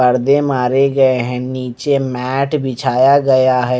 पर्दे मारे गए हैं नीचे मैट बिछाया गया है।